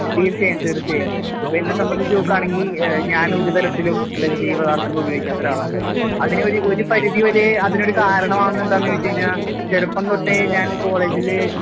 തീർച്ചയായും, തീർച്ചയായും. ഇപ്പെന്നെ സംബന്ധിച്ച് നോക്കാണെങ്കി ഏഹ് ഞാനൊര് തരത്തിലും ലഹരി പദാർത്ഥങ്ങൾ ഉപയോഗിക്കാത്തൊരാളാണ്. അതിന് ഒര് ഒരു പരിധിവരെ അതിനൊരു കാരണമാവുന്നതെന്താന്ന് ചോയിച്ച് കഴിഞ്ഞാ ചെറുപ്പംതൊട്ടേ ഞാൻ കോളേജില്